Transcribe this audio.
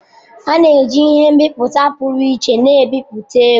A na-eji ihe nbiputa pụrụ iche na-ebipụta ego.